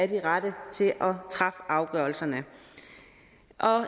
de rette til at træffe afgørelserne